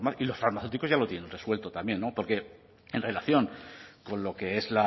y los farmacéuticos ya lo tienen resuelto también porque en relación con lo que es